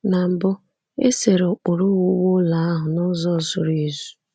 Na mbụ, e sere ụkpụrụ owuwu ụlọ ahụ n’ụzọ zuru ezu.